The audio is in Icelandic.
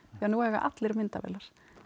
því nú eiga allir myndavélar